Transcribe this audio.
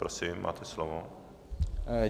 Prosím, máte slovo.